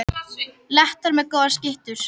Lettar með góðar skyttur